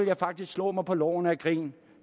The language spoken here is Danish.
jeg faktisk slå mig på lårene af grin